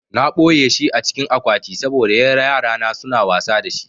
Na ɓoyeshi a cikin akwati saboda yarana suna wasa da shi